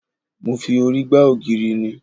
Mo fi orí gba ògiri ni